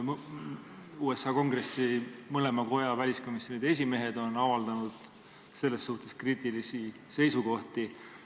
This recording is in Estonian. USA Kongressi mõlema koja väliskomisjoni esimehed on avaldanud selles suhtes kriitilisi seisukohti.